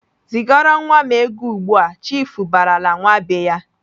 "Zigara nwa m ego ugbu!"Chiifu barala nwa be ya.